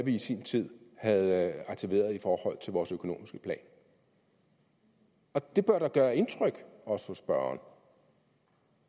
vi i sin tid havde aktiveret i forhold til vores økonomiske plan det bør da gøre indtryk også på spørgeren